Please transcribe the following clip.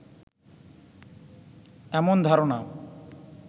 এমন ধারণা